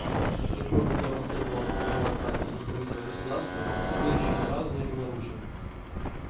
с тех пор как я унаследовал от своего отца титул правителя государства мир ещё ни разу не был нарушен